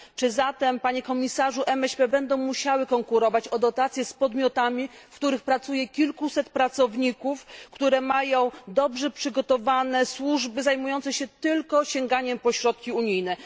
Czy zatem, panie komisarzu, MŚP będą musiały konkurować o dotacje z podmiotami, w których pracuje kilkuset pracowników i które mają dobrze przygotowane służby zajmujące się tylko sięganiem po środki unijne?